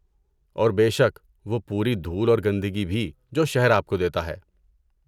اور بے شک، وہ پوری دھول اور گندگی بھی جو شہر آپ کو دیتا ہے۔